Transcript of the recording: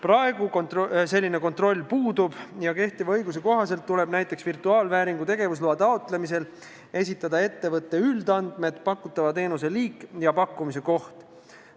Praegu selline kontroll puudub ja kehtiva õiguse kohaselt tuleb näiteks virtuaalvääringu tegevusloa taotlemisel esitada ettevõtte üldandmed, pakutava teenuse liik ja pakkumise koht.